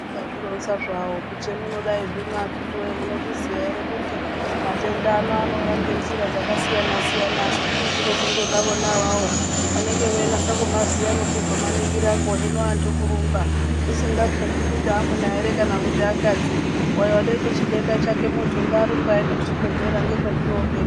Akazvironza hawo kuti hemudai akitiwoye munozviziya ere kuti matenda ano anouya ngenjira dzakasiyana siyana asi kuti dzinozongoda vona avavo vanenge veinasa kumaziya nekuzomaningirako hee hino antu kurumba zvisingaketwi kuti amuna ere kana akadzi uyo watoite chidenda chake muntu ngaarumbe aende kuchibhedhlera ndokwezvinooperera.